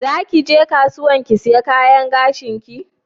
Zaki ge kasuwan ki siya kayan gashin ki?